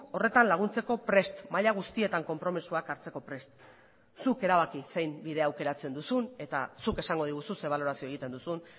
horretan laguntzeko prest gaude maila guztietan konpromisoak hartzeko prest gaude zuk erabaki zein bide aukeratzen duzun eta zuk esango diguzu zer balorazioa egiten duzun